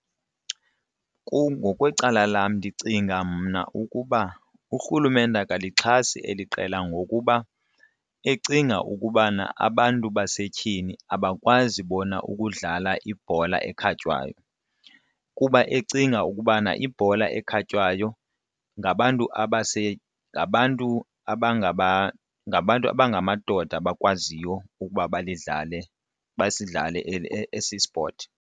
Kum ngokwecala lam ndicinga mna ukuba urhulumente akasalixhasi eli qela ngokuba ecinga ukubana abantu basetyhini abakwazi bona ukudlala ibhola ekhatywayo, kuba ecinga ukubana ibhola ekhatywayo ngabantu ngabantu ngabantu abangamadoda abakwaziyo ukuba bayidlale basidlalele esi spothi.